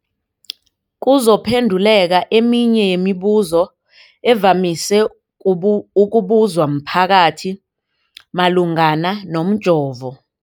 kuzokuphe nduleka eminye yemibu zo evamise ukubuzwa mphakathi malungana nomjovo.